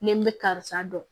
Ni n bɛ karisa dɔn